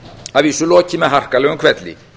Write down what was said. að vísu lokið með harkalegum hvelli